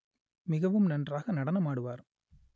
மிகவும் நன்றாக நடனம் ஆடுவார்